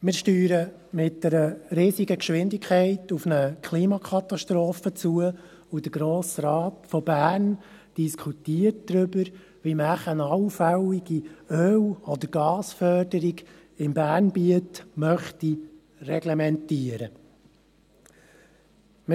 Wir steuern mit riesiger Geschwindigkeit auf eine Klimakatastrophe zu, und der Grosse Rat des Kantons Bern diskutiert darüber, wie man wohl eine allfällige Öl- oder Gasförderung im Bernbiet reglementieren möchte.